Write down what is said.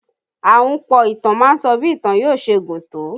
Ahunpọ̀ ìtàn má ń sọ bí ìtàn yóò ṣe gùn tó